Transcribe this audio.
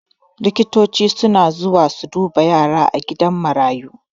Likitoci suna zuwa su duba yara a gidan marayu